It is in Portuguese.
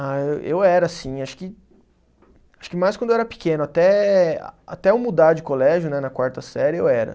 Ah, eu era sim, acho que acho que mais quando eu era pequeno, até até eu mudar de colégio, né, na quarta série, eu era.